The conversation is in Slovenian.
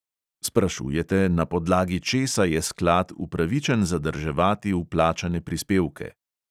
Sprašujete, na podlagi česa je sklad upravičen zadrževati vplačane prispevke.